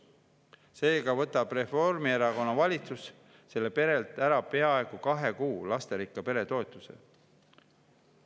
Seega võtab Reformierakonna valitsus sellelt perelt ära peaaegu kahe kuu lasterikka pere toetuse.